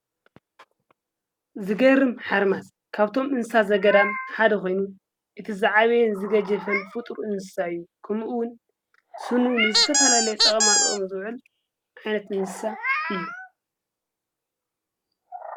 ዝገርም ሓርማስ ካብቶም እንሳ ዘገዳ ሓደ ኾይኑ እቲ ዝዓበየን ዝገጀፈን ፍጥር እንሳ እዩ ከምኡውን ሡኑውንዝተፋላለይ ጠቐማጥቕሚ ዘውዕል ኣይነት እንስሳ እዩ።